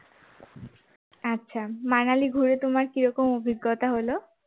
আচ্ছা মানালি ঘুরে তোমার কী রকম অভিজ্ঞতা হল?